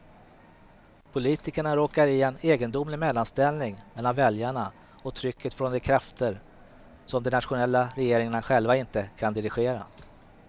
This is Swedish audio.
Politikerna råkar i en egendomlig mellanställning mellan väljarna och trycket från de krafter, som de nationella regeringarna själva inte kan dirigera.